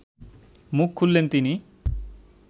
মুখ খুললেন তিনি